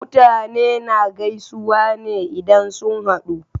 Mutane na gaisuwa ne idan sun haɗu